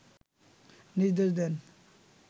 নির্দেশ দেন